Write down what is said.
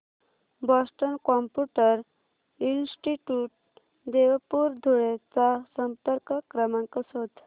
Boston computer institute Devpur Dhule चा संपर्क क्रमांक शोध